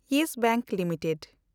Yes bank limited